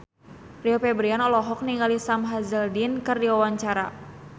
Rio Febrian olohok ningali Sam Hazeldine keur diwawancara